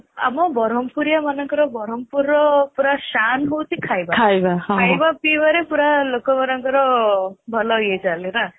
ଆମ ବରମପୁରିଆ ମାନଙ୍କର ବରମପୁରର ପୁରା ସାନ ହେଉଛି ଖାଇବା ଖାଇବା ପିଇବାରେ ପୁରା ଲୋକ ମାନଙ୍କର ଭଲ ୟିଏ ଚାଲେ ନା